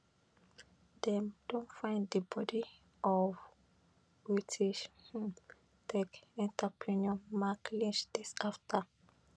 dem don find di body of british um tech entrepreneur mike lynch days afta